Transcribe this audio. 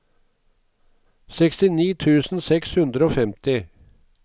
sekstini tusen seks hundre og femti